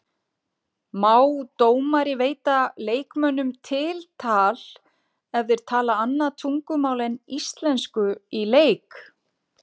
Má dómari veita leikmönnum tiltal ef þeir tala annað tungumál en íslensku í leik?